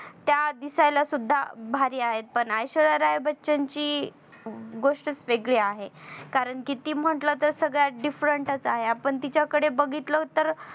त्या दिसायला सुद्धा भारी आहेत पण ऐश्वर्या राय बच्चन ची गोष्टच वेगळी आहे कारण कितीही म्हटलं तर सगळ्यात direct च आहे. आपण तिच्याकडो बघितलं तर